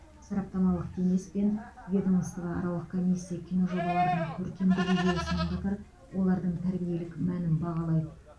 сараптамалық кеңес пен ведомствоаралық комиссия киножобалардың көркемдік идеясымен қатар олардың тәрбиелік мәнін бағалайды